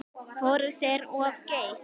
Fóru þeir of geyst?